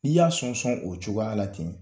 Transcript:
N'i y'a sɔn sɔn o cogoya la ten.